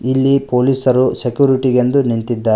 ಇಲ್ಲಿ ಪೊಲೀಸರು ಸೆಕ್ಯೂರಿಟಿ ಗೆ ಎಂದು ನಿಂತಿದ್ದಾರೆ.